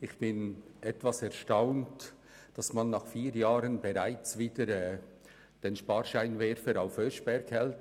Ich bin etwas erstaunt darüber, dass man nach vier Jahren bereits wieder den Sparscheinwerfer auf den Oeschberg richtet.